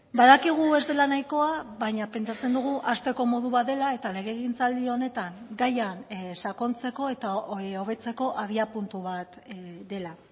badakigu ez dela nahikoa baina pentsatzen dugu hasteko modu bat dela eta legegintzaldi honetan gaian sakontzeko eta hobetzeko abiapuntu bat dela